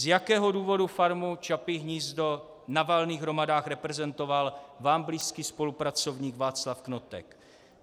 Z jakého důvodu Farmu Čapí hnízdo na valných hromadách reprezentoval vám blízký spolupracovník Václav Knotek?